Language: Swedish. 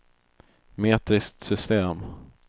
metriskt system